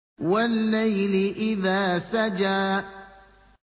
وَاللَّيْلِ إِذَا سَجَىٰ